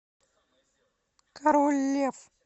король лев